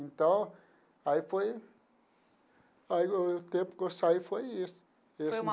Então, aí foi... Aí o o tempo que eu saí foi esse esse.